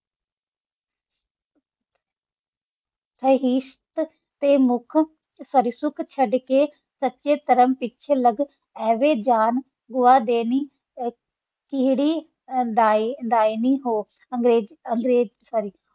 ਸਚਾ ਕਾਮ ਪਿਛਾ ਆਵਾ ਜਾਂ ਗਵਾ ਦਾਨੀ ਤੇਰੀ ਦੀ ਹੋਣ ਹੋ ਅਨ੍ਗਾਰਾਜੀ ਹੋ ਸੋਰ੍ਰੀ